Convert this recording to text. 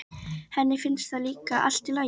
Henni finnst það líka allt í lagi.